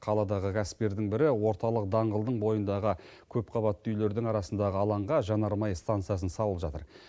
қаладағы кәсіпкердің бірі орталық даңғылдың бойындағы көпқабатты үйлердің арасындағы алаңға жанармай стансасын салып жатыр